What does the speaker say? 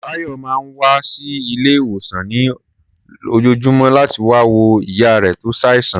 Táyọ̀ máa ń wá sí ilé-ìwòsàn ní lójoojúmọ́ láti wá wo ìyá rẹ̀ tó ṣàìsàn.